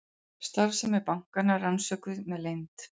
Starfsemi bankanna rannsökuð með leynd